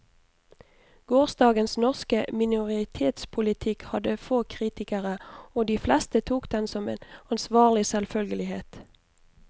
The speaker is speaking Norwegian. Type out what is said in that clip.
Gårsdagens norske minoritetspolitikk hadde få kritikere, og de fleste tok den som en ansvarlig selvfølgelighet.